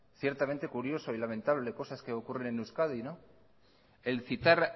ciertamente curioso y lamentable cosas que ocurren en euskadi el citar